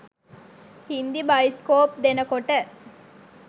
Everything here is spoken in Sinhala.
හින්දි බයිස්කෝප් දෙනකොට